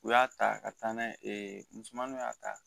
U y'a ta ka taa n'a ye misɛnmaninw y'a ta